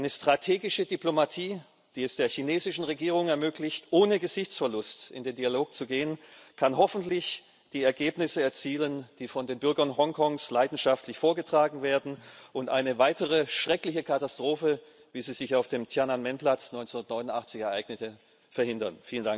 Eine strategische Diplomatie, die es der chinesischen Regierung ermöglicht, ohne Gesichtsverlust in den Dialog zu gehen, kann hoffentlich die Ergebnisse erzielen, die von den Bürgern Hongkongs leidenschaftlich vorgetragen werden, und eine weitere schreckliche Katastrophe, wie sie sich auf dem Tiananmen Platz 1989 ereignete, verhindern.